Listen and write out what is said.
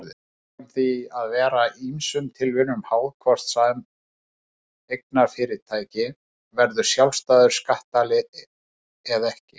Það kann því að vera ýmsum tilviljunum háð hvort sameignarfyrirtæki verður sjálfstæður skattaðili eða ekki.